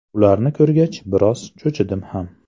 Ularni ko‘rgach, biroz cho‘chidim ham.